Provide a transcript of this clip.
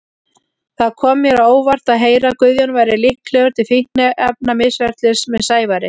Það kom mér á óvart að heyra að Guðjón væri líklegur til fíkniefnamisferlis með Sævari.